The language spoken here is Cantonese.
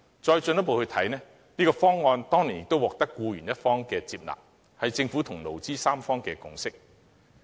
況且，這個方案當年亦獲得僱員一方接納，這是政府與勞、資三方的共識。